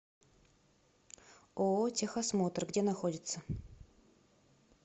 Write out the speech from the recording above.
ооо техосмотр где находится